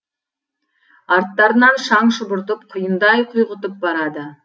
арттарынан шаң шұбыртып құйындай құйғытып барады